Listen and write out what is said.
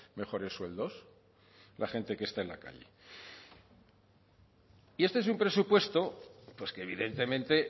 mejores sueldos la gente que está en la calle y este es un presupuesto pues que evidentemente